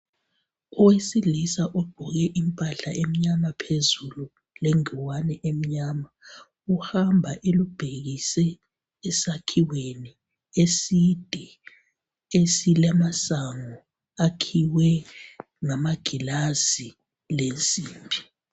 Owesilisa ogqoke impahla emnyama phezulu lengowane emnyama uhamba elubhekise esakhiweni eside esilamasango akhiwe ngamagilazi lensimbi.